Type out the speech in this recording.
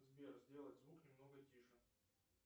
сбер сделать звук немного тише